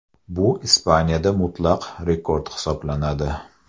Bu Ispaniyada mutlaq rekord hisoblanadi.